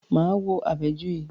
Máa wo Àbẹ̀joyè.